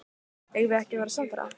Eigum við ekki að verða samferða?